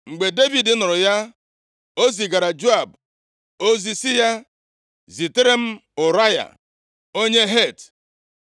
Mgbe Devid nụrụ ya, o zigaara Joab ozi sị ya, “Zitere m Ụraya, onye Het.”